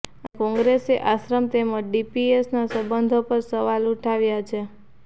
અને કોંગ્રેસે આશ્રમ તેમજ ડીપીએસના સંબંધો પર સવાલ ઉઠાવ્યા છે